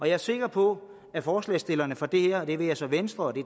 er sikker på at forslagsstillerne for det her det være sig venstre